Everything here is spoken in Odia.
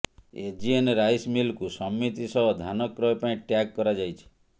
ଏଜିଏନ ରାଇସ ମିଲକୁ ସମିତି ସହ ଧାନକ୍ରୟ ପାଇଁ ଟ୍ୟାଗ କରାଯାଇଛି